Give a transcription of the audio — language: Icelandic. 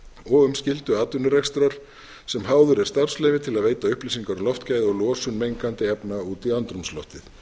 og um skyldu atvinnurekstrar sem háður er starfsleyfi til að veita upplýsingar um loftgæði og losun mengandi efna út í andrúmsloftið